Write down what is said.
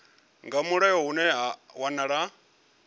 nga mulayo hune ha wanala